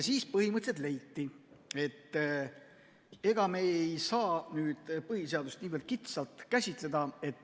Siis põhimõtteliselt leiti, et ega me ei saa põhiseadust niivõrd kitsalt käsitleda.